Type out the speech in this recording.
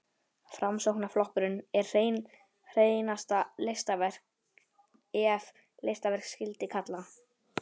Framsóknarflokkurinn er hreinasta listaverk, ef listaverk skyldi kalla.